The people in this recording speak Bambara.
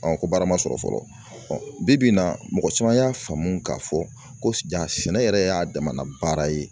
ko baara ma sɔrɔ fɔlɔ bi-bi in na mɔgɔ caman y'a faamu k'a fɔ ko jaa sɛnɛ yɛrɛ y'a damana baara ye